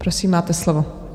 Prosím, máte slovo.